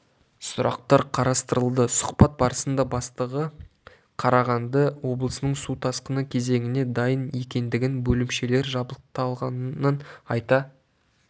сұрақтар қарастырылды сұхбат барысында бастығы қарағанды облысының су тасқыны кезеңіне дайын екендігін бөлімшелер жабдықталғанын айта